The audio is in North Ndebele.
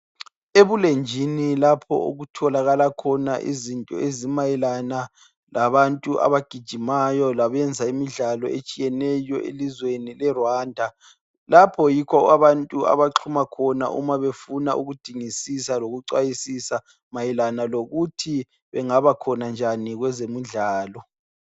Ebulenjini lapho okutholakala khona izinto ezimayelana labantu abagijimayo labenza imidlalo etshiyeneyo elizweni leRwanda, lapho yikho abantu abanxuma khona uma befuna ukudingisisa lokuxwayisa mayelana lokuthi bangaba khona njani kwezemidlalo.